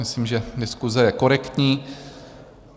Myslím, že diskuse je korektní.